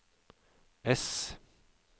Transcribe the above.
S